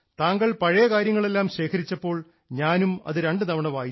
താങ്കൾ പഴയ കാര്യങ്ങളെല്ലാം ശേഖരിച്ചപ്പോൾ ഞാനും അത് രണ്ടുതവണ വായിച്ചു